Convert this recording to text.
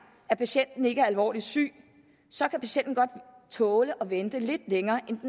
at patienten ikke er alvorligt syg så kan patienten godt tåle at vente lidt længere end